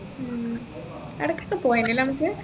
ഉം അവിടേക്ക് പോവേനു അല്ലെ നമ്മക്ക്